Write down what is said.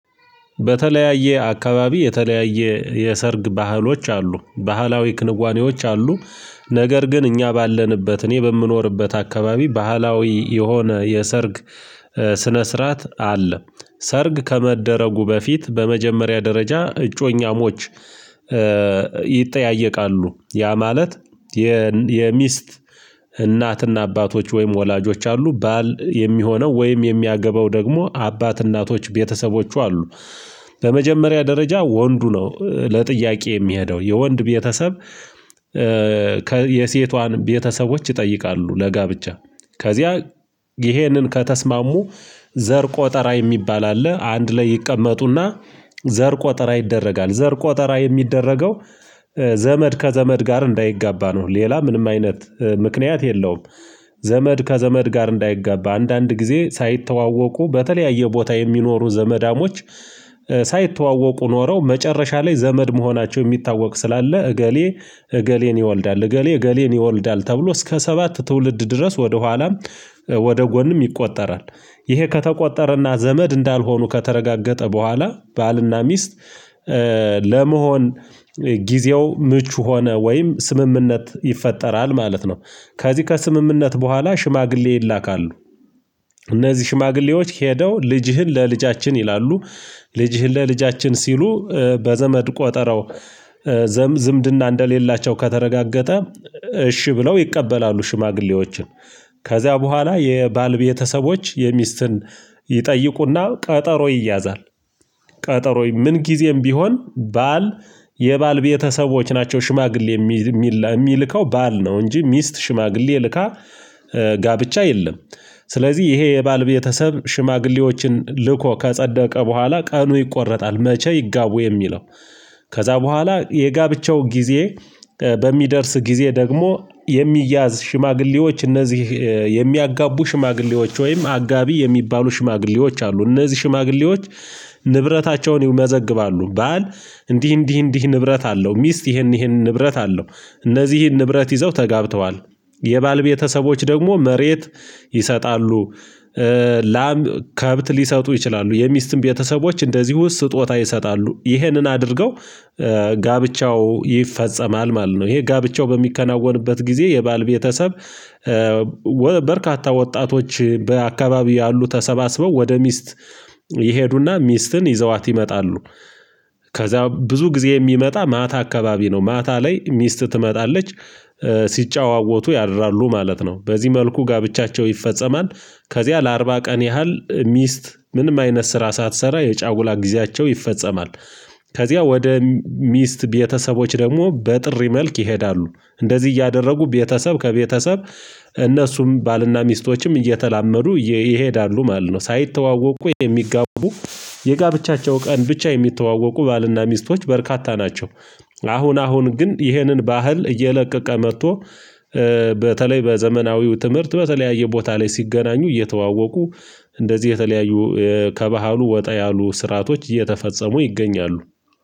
በተለያየ አካባቢ የተለያየ የሰርግ ባህሎች አሉ ባህላዊ ክንዋኔዎች አሉ። ነገር ግን እኛ ባለንበት እኔ በምኖርበት አከባቢ ባህላዊ የሆነ የሰርግ ስነ ስርዓት አለ። ሰርግ ከመደረጉ በፊት በመጀመሪያ ደረጃ እጮኛሞች ይጠያየቃሉ ያ ማለት የሚስት እናትና አባቶች ወይም ወላጆች አሉ ባል የሚሆነው ወይም የሚያገባው ደግሞ አባት እናቶች ቤተሰቦቹ አሉ። በመጀመሪያ ደረጃ ወንዱ ነው ለጥያቄ የሚሄደው የወንድ ቤተሰብ ከየሴቷን ቤተሰቦች ይጠይቃሉ ለጋብቻ። ከዚያ ይሄንን ከተስማሙ ዘር ቆጠራ የሚባል አለ አንድ ላይ ይቀመጡና ዘር ቆጠራ ይደረጋል ዘር ቆጠራ የሚደረገው ዘመድ ከዘመድ ጋር እንዳይጋባ ነው። ሌላ ምንም አይነት ምክንያት የለውም። ዘመድ ከዘመድ ጋር እንዳይጋባ አንዳንድ ጊዜ ሳይተዋወቁ በተለያየ ቦታ የሚኖሩ ዘመዳሞች ሳይተዋወቁ ኖረው መጨረሻ ላይ ዘመድ መሆናቸው የሚታወቅ ስላለ እገሌ እገሌን ይወልዳል እገሌ እገሌን ይወልዳል ተብሎ እስከ ሰባት ትውልድ ድረስ ወደ ኋላም ወደ ጎንም ይቆጠራል። ይሄ ከተቆጠረና ዘመድ እንዳልሆኑ ከተረጋገጠ በኋላ ባልና ሚስት ለመሆን ጊዜው ምቹ ሆነ ወይም ስምምነት ይፈጠራል ማለት ነው። ከዚህ ከስምምነት በኋላ ሽማግሌ ይላካሉ። እነዚህ ሽማግሌዎች ሄደው ልጅህን ለልጃችን ይላሉ ልጅህን ለልጃችን ሲሉ በዘመድ ቆጠረው ዝምድና እንደሌላቸው ከተረጋገጠ እሺ ብለው ይቀበላሉ ሽማግሌዎችን። ከዚያ በኋላ የባል ቤተሰቦች ሚስትን ይጠይቁና ቀጠሮ ይያዛል። ቀጠሮ ምን ጊዜም ቢሆን ባል የባል ቤተሰቦች ናቸው ሽማግሌ የሚልከው ባል ነው እንጂ ሚስት ሽማግሌ ልካ ጋብቻ የለም። ስለዚህ ይሄ የባል ቤተሰብ ሽማግሌዎችን ልኮ ከጸደቀ በኋላ ቀኑ ይቆረጣል መቼ ይጋቡ የሚለው? ከዛ በኋላ የጋብቻው ጊዜ በሚደርስ ጊዜ ደግሞ የሚያዝ ሽማግሌዎች እነዚህ የሚያጋቡ ሽማግሌዎች ወይም አጋቢ የሚባሉ ሽማግሌዎች አሉ። እነዚህ ሽማግሌዎች ንብረታቸውን ይመዘግባሉ ባል እንዲህ እንዲህ እንዲህ ንብረት አለው ሚስት ይህን ይህን ንብረት አላት እነዚህን ንብረት ይዘው ተጋብተዋል። የባል ቤተሰቦች ደግሞ መሬት ይሰጣሉ። ላም ከብት ሊሰጡ ይችላሉ የሚስትም ቤተሰቦች እንደዚሁ ስጦታ ይሰጣሉ ይህንን አድርገው ጋብቻው ይፈጸማል ማለት ነው። ይሄ ጋብቻው በሚከናወንበት ጊዜ የባል ቤተሰብ በርካታ ወጣቶች በአካባቢው ያሉ ተሰባስበው ወደ ሚስት ይሄዱና ሚስትን ይዘዋት ይመጣሉ። ከዛ ብዙ ጊዜ የሚመጣው ማታ አካባቢ ነው ማታ ላይ ሚስት ትመጣለች። ሲጨዋወቱ ያድራሉ ማለት ነው በዚህ መልኩ ጋብቻቸው ይፈጸማል። ከዚያ ለአርባ ቀን ያህል ሚስት ምንም አይነት ስራ ሳትሰራ የጫውላ ጊዜያቸው ይፈጸማል። ከዚያ ወደ ሚስት ቤተሰቦች ደግሞ በጥሪ መልክ ይሄዳሉ እንደዚህ እያደረጉ ቤተሰብ ከቤተሰብ እነሱም ባልና ሚስቶችም እየተላመዱ ይሄዳሉ ማለት ነው። ሳይተዋወቁ የሚጋቡ የጋብቻቸው ቀን ብቻ የሚተዋወቁ ባልና ሚስቶች በርካታ ናቸው። አሁን አሁን ግን ይህንን ባህል እየለቀቀ መጥቶ በተለይ በዘመናዊው ትምህርት በተለያየ ቦታ ላይ ሲገናኙ እየተዋወቁ እንደዚህ የተለያዩ ከባህሉ ወጣ ያሉ ስርአቶች እየተፈጸሙ ይገኛሉ